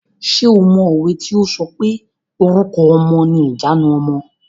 Ṣé o mọ òwe tí o sọ pé "Orúkọ ọmọ ni ìjanu ọmọ".